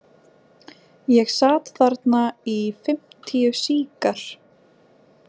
Ég sat þarna í fimmtíu sígar